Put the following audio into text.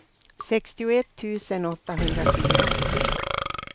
sextioett tusen åttahundrafyra